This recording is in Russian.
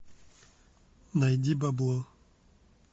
найди бабло